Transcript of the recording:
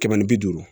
Kɛmɛ ni bi duuru